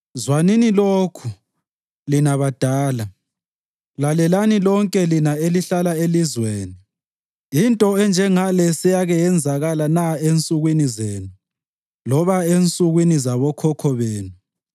Zwanini lokhu, lina badala; lalelani lonke lina elihlala elizweni. Into enjengale seyake yenzakala na ensukwini zenu loba ensukwini zabokhokho benu?